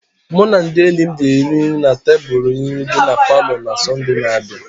Mụ na ndị enyi m ga-eri nri na tebụl nri dị na palọ na Sọnde na-abịa.